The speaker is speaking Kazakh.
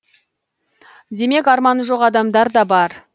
демек арманы жоқ адамдар да бар